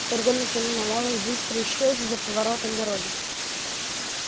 фургон уже миновал их быстро исчез за поворотом дороги